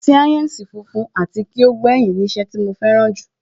sáyẹ́ǹsì funfun ati ki o gbẹyin ni iṣẹ́ tí mo fẹ́ràn jù